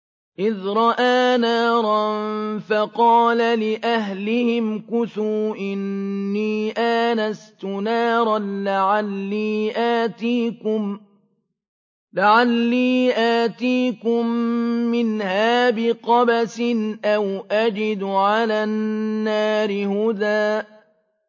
إِذْ رَأَىٰ نَارًا فَقَالَ لِأَهْلِهِ امْكُثُوا إِنِّي آنَسْتُ نَارًا لَّعَلِّي آتِيكُم مِّنْهَا بِقَبَسٍ أَوْ أَجِدُ عَلَى النَّارِ هُدًى